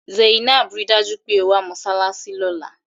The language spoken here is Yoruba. Zainab! Rí i dájú pé o wá sí mọ́ṣáláṣí lọ́la!